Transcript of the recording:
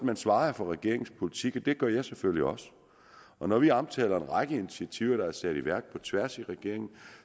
man svarede for regeringens politik og det gør jeg selvfølgelig også og når vi omtaler en række initiativer der er sat i værk på tværs af regeringen